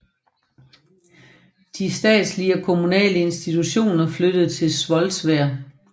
De statslige og kommunale institutioner flyttede til Svolvær